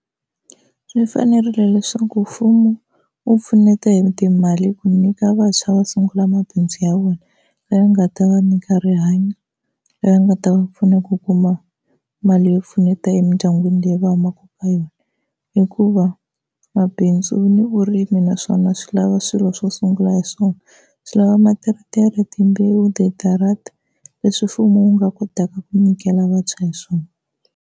Swi fanerile leswaku mfumo wu pfuneta hi timali ku nyika vantshwa va sungula mabindzu ya vona lawa ya nga ta va nyika rihanyo leri nga ta va pfuna ku kuma mali yo pfuneta emindyangwini leyi va humaka ka yona, hikuva mabindzu ni vurimi naswona swi lava swilo swo sungula hi swona, swi lava materetere, timbewu, tidarata leswi mfumo wu nga kotaka ku nyikela vantshwa hi swona.